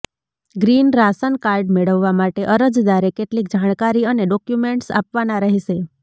green ration card મેળવવા માટે અરજદારે કેટલીક જાણકારી અને ડોક્યૂમેન્ટ્સ આપવાના રહેશે